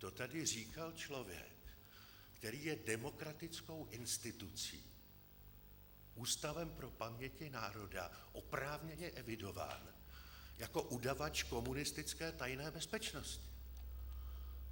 To tady říkal člověk, který je demokratickou institucí, Ústavem pro paměti národa, oprávněně evidován jako udavač komunistické tajné bezpečnosti.